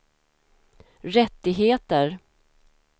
rättigheter